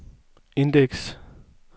indeks